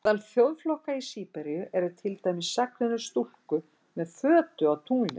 Meðal þjóðflokka í Síberíu eru til dæmis sagnir um stúlku með fötu á tunglinu.